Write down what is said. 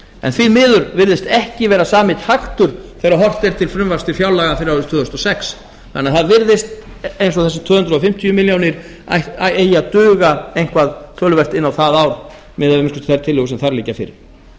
en því miður virðist ekki vera sami taktur þegar horft er til frumvarps til fjárlaga fyrir árið tvö þúsund og sex það virðist því sem þessar tvö hundruð fimmtíu milljónir eigi að duga töluvert inn á það ár að minnsta kosti miðað við þær tillögur sem